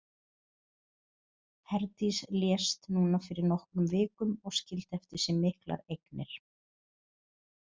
Herdís lést núna fyrir nokkrum vikum og skildi eftir sig miklar eignir.